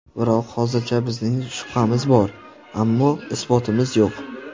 Biroq hozircha bizning shubhamiz bor, ammo isbotimiz yo‘q.